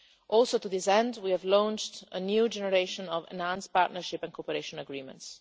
Also, to this end, we have launched a new generation of enhanced partnership and cooperation agreements.